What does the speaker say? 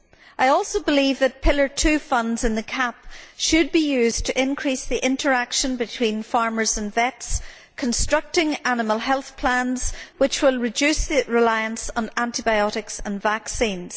I also believe that Pillar 2 funds in the CAP should be used to increase the interaction between farmers and vets, constructing animal health plans which will reduce the reliance on antibiotics and vaccines.